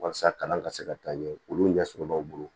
Walasa kalan ka se ka taa ɲɛ olu ɲɛsɔrɔ b'aw bolo